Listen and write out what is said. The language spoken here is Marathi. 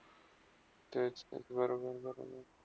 तेच ते, बरोबर - बरोबर.